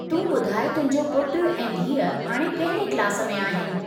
तूं ॿुधाइ तुहिंजो पुटु ऐं धीउ हाणे कहिड़े क्लास में आहिनि ?